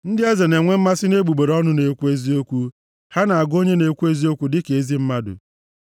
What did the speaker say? Ndị eze na-enwe mmasị nʼegbugbere ọnụ na-ekwu eziokwu, ha na-agụ onye na-ekwu eziokwu dị ka ezi mmadụ.